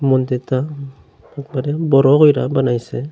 মন্দিরটা উপরের বড় কইরা বানাইসে।